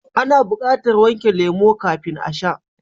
Ana bukatar wanke lemo kafin a sha.